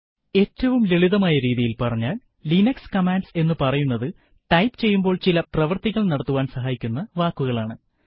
ഏറ്റവും ലളിതമായ രീതിയിൽ പറഞ്ഞാൽ ലിനക്സ് കമാൻഡ്സ് എന്ന് പറയുന്നതു ടൈപ്പ് ചെയ്യുമ്പോൾ ചില പ്രവർത്തികൾ നടത്തുവാൻ സഹായിക്കുന്ന വാക്കുകളാണ്